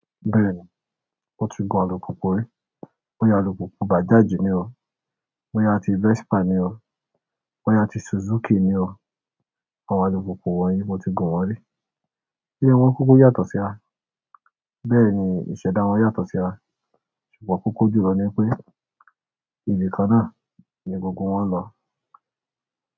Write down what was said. Bẹ́ẹ̀ni, mo ti gun alùpùpù rí. Bóyá alùpùpù Bajaj ni o, mo ya ti Vespa ni o, mo ya ti Suzuki ni o. Àwọn alùpùpù wọ̀nyí mo ti gun wọn rí. Wọn kúkú yàtọ̀ síra? Bẹ́ẹ̀ni, ìṣẹ̀dá wọn yàtọ̀ síra. Ṣùgbọ́n kókó jùlọ ni pé, ibi kan náà ni gbogbo wọn ń lọ.